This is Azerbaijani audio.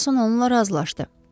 Ferquson onunla razılaşdı.